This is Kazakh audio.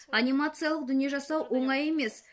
анимациялық дүние жасау оңай емес